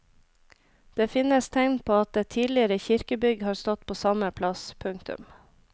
Det finnes tegn på at et tidligere kirkebygg har stått på samme plass. punktum